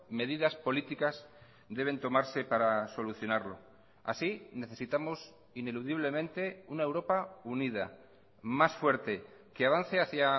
medidas políticas deben tomarse para solucionarlo así necesitamos ineludiblemente una europa unida más fuerte que avance hacia